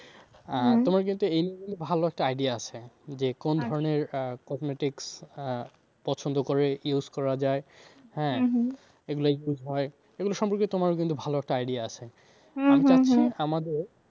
তোমার কিন্তু এইগুলো নিয়ে ভালো একটা idea আছে যে আহ cosmetics আহ পছন্দ করে use করা যায় এগুলো use হয় এগুলো সম্পর্কে তোমারও কিন্তু ভালো একটা idea আছে। আমাদের